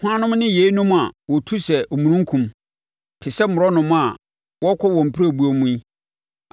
“Hwannom ne yeinom a wɔtu sɛ omununkum, te sɛ mmorɔnoma a wɔrekɔ wɔn pirebuo mu yi?